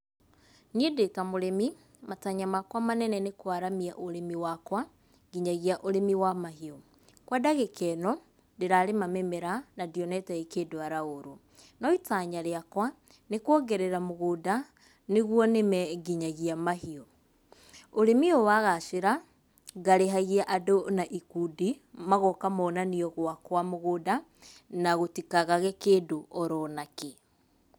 Niĩ ndĩ ta mũrĩmi, matanya makwa manene nĩ kwaramia ũrĩmi wakwa nginya ũrĩmi wa mahiũ. Kwa ndagĩka ĩno, ndĩrarĩma mĩmera na ndionete ĩkĩndwara ũũru. No itanya rĩakwa nĩ kwongerera mũgũnda, nĩgwo nĩme nginya mahiũ. Ũrĩmi ũyũ wagacĩra, ngarĩhagia andũ na ikundi magoka monanio gwakwa mũgũnda na gũtikagage kindũ oro na kĩ.